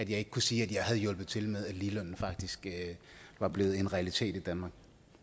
jeg ikke kan sige at hjulpet til med at ligelønnen faktisk var blevet en realitet i danmark